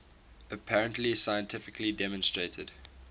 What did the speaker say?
apparently scientifically demonstrated